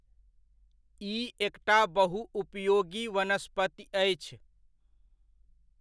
ई एकटा बहुउपयोगी वनस्पति अछि।